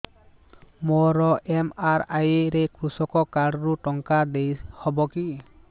ମୋର ଏମ.ଆର.ଆଇ ରେ କୃଷକ କାର୍ଡ ରୁ ଟଙ୍କା ଦେଇ ହବ କି